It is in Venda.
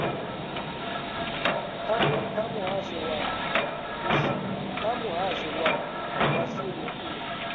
kha muhasho wa vhashumi u